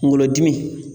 Kunkolodimi